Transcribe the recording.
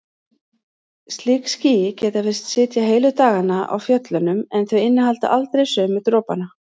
Slík ský geta virst sitja heilu dagana á fjöllunum en þau innihalda aldrei sömu dropana.